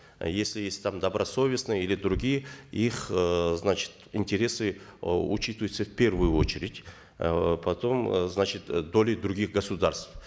если есть там добросовестные или другие их э значит интересы э учитываются в первую очередь э потом э значит э доли других государств